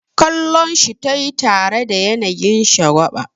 Kallonshi tayi tare da yanayin shagwaba.